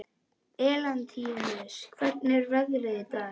Elentínus, hvernig er veðrið í dag?